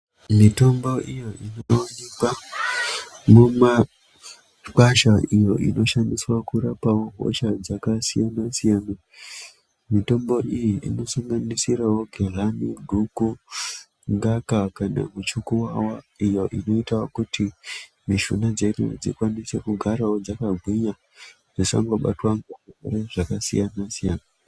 Mitombo iyo inoonekwa mumakwasha iyo inoshandiswawo kurapawo hosha dzakasiyana-siyana mitombo iyi inosanganisirawo gehlani, guku, ngaka kana muchukuwawa iyo inoita kuti mishuna dzedu dzigarewo dzakagwinya dzisangobatwa ngezvirwere zvakasiyana-siyana.